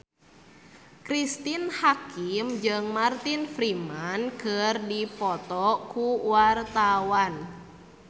Cristine Hakim jeung Martin Freeman keur dipoto ku wartawan